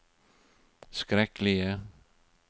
skrekkelige